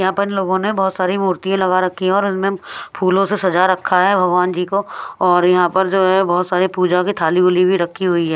यहां पर इन लोगों ने बहुत सारी मूर्तियां लगा रखी है और उनमें फूलों से सजा रखा है भगवान जी को और यहां पर जो है बहुत सारे पूजा की थाली बुली भी रखी हुई है।